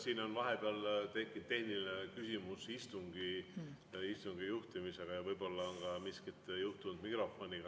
Siin on vahepeal tekkinud tehniline küsimus istungi juhtimise kohta ja võib-olla on miskit juhtunud mikrofoniga.